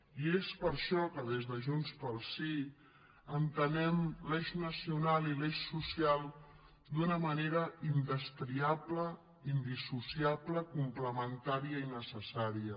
i és per això que des de junts pel sí entenem l’eix nacional i l’eix social d’una manera indestriable indissociable complementària i necessària